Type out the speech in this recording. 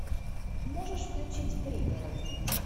можешь включить пригород